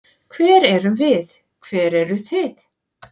Hver erum við, hver eru þið?